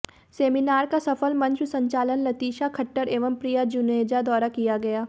seminar का सफल मंच संचालन लतिशा खट्टर एवं प्रिया जुनेजा द्वारा किया गया